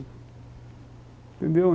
Entendeu?